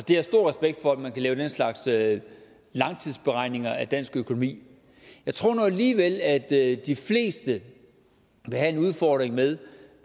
har stor respekt for at man kan lave den slags slags langtidsberegninger af dansk økonomi jeg tror nu alligevel at de fleste vil have en udfordring med